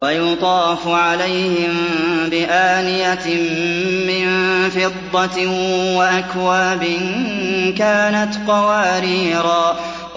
وَيُطَافُ عَلَيْهِم بِآنِيَةٍ مِّن فِضَّةٍ وَأَكْوَابٍ كَانَتْ قَوَارِيرَا